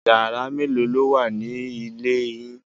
Yàrá mélòó ló wà ní ilé yín?